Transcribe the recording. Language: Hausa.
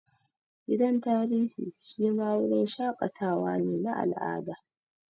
Gidan tarihi shi ma wurin shaƙatawa ne na al'ada